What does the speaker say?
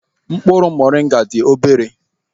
Mkpụrụ Moringa dị obere.